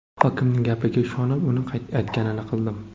Hokimning gapiga ishonib, uning aytganini qildim.